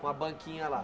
Com a banquinha lá?